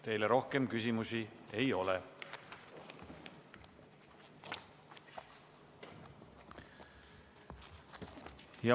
Teile rohkem küsimusi ei ole.